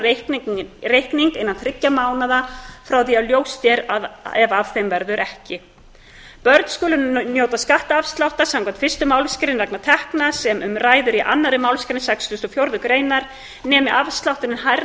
inn á reikning innan þriggja mánaða frá því að ljóst er að af þeim verður ekki börn skulu njóta skattafsláttar samkvæmt fyrstu málsgrein vegna tekna sem um ræðir í annarri málsgrein sextugustu og fjórðu greinar nemi afslátturinn hærri